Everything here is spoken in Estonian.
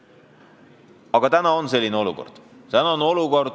Aga praegu meil selline olukord on.